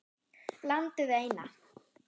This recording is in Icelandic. Landið eina.